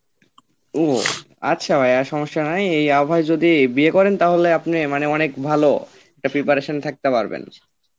ও আচ্ছা ভাইয়া সমস্যা নাই এই আবহাওয়ায় যদি আপনি বিয়ে করেন তাহলে মানে অনেক ভালো একটা preparation থাকতে পারবেন